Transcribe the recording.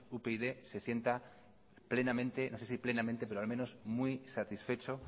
upyd se sienta plenamente no sé si plenamente pero al menos muy satisfecho